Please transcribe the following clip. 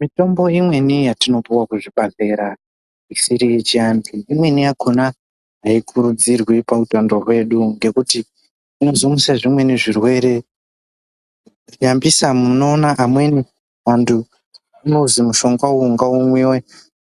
Mitombo imweni yatinopiwa kuzvibhahleya isiri yechiantu imweni yakona aikurudzirwi pautaano hwedu ngekuti inozomutse zvimweni zvirwrere, nyambisa munoona amweni antu anozi mushongawo ngaumwiwe